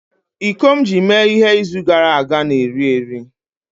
iko m ji mee ihe izu gara aga na-eri eri